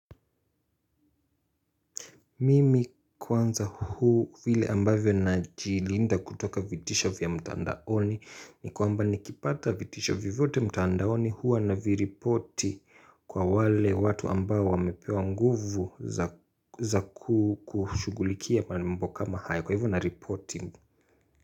Mimi kwanza huu vile ambavyo najilinda kutoka vitisho vya mtaandaoni, ni kwamba nikipata vitisho vivote mtaandaoni huwa na viripoti kwa wale watu ambao wamepewa nguvu za za kushugulikia mambo kama hayo. Kwa hivyo na repoti.